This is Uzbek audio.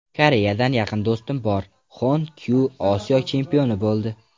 Koreyadan yaqin do‘stim bor Hon Kyu Osiyo chempioni bo‘ldi.